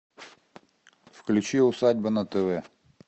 включи усадьба на тв